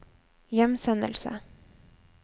hjemsendelse